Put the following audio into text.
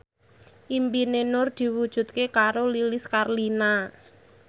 impine Nur diwujudke karo Lilis Karlina